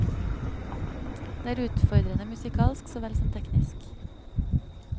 Det er utfordrende musikalsk så vel som teknisk.